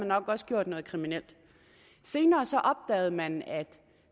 nok også gjort noget kriminelt senere opdagede man at